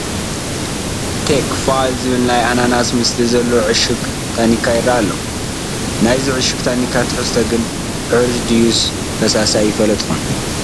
ቴክ ፋይፍ ዝብል ናይ ኣናናስ ምስሊ ዘለዎ ዕሹግ ታኒካ ይርአ ኣሎ፡፡ ናይዚ ዕሹግ ታኒካ ትሕዝቶ ግን ሕሩጭ ድዩስ ፈሳሲ ኣይፈለጥኩን፡፡